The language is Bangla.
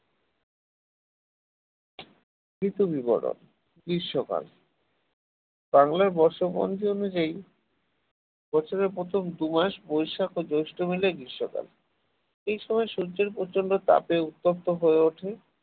ঋতু বিবরণ গ্রীষ্মকাল বাংলার বর্ষপঞ্জি অনুযায়ী বছরের প্রথম দু মাস বৈশাখ ও জৈষ্ঠ মিলে গ্রীষ্মকাল এই সময় সূর্যের প্রচণ্ড তাপে উত্তপ্ত হয়ে ওঠে